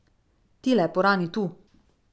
Tile purani, tu.